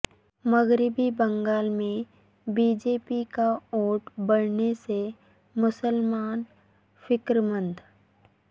مغربی بنگال میں B J P کا ووٹ بڑھنے سے مسلمان فکر مند